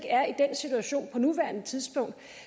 er i den situation på nuværende tidspunkt